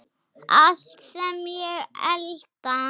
Allt sem ég elda.